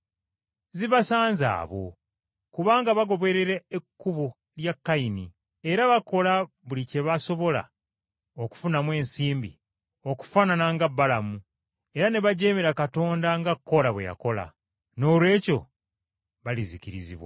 Zibasanze abo! Kubanga bagoberera ekkubo lya Kayini, era bakola buli kye basobola okufunamu ensimbi okufaanana nga Balamu, era ne bajeemera Katonda nga Koola bwe yakola, noolwekyo balizikirizibwa.